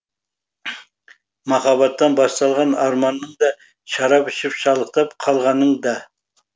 махаббаттан басталған арманың да шарап ішіп шалықтап қалғаның да